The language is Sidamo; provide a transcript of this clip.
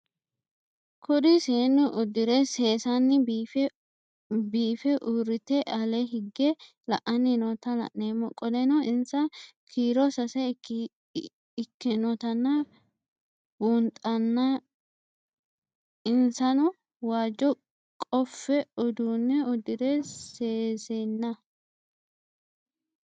Kuri seenu udire sesena biife urite ale hige la'ani noota la'nemo qoleno insa kiiro sase ikinotana bunxana insano waajo qofe udune udire sesena